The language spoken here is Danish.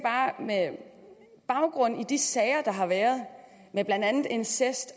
med baggrund i de sager der har været med blandt andet incest